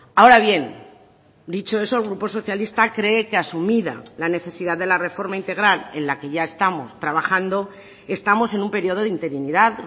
ahora bien dicho eso el grupo socialista cree que asumida la necesidad de la reforma integral en la que ya estamos trabajando estamos en un periodo de interinidad